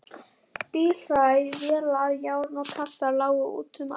Bílhræ, vélar, járn og kassar lágu út um allt.